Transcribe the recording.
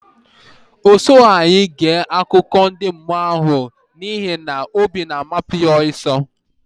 O sughi anyị ge akụkọ ndị mmụọ ahụ n'ihi na obi na amapu yá osiso